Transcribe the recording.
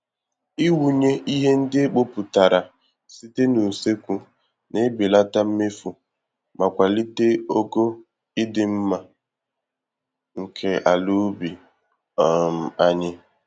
Ị wụnye ihe ndị e kpopụtara site n'usekwu, na-ebelata mmefu ma kwalite ogo ịdị mmá nke ala ubi um anyị